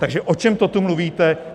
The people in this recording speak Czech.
Takže o čem to tu mluvíte?